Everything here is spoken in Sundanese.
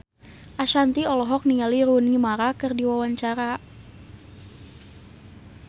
Ashanti olohok ningali Rooney Mara keur diwawancara